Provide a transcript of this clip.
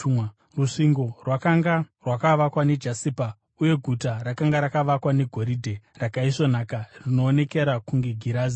Rusvingo rwakanga rwakavakwa nejasipa, uye guta rakanga rakavakwa negoridhe rakaisvonaka rinoonekera kunge girazi.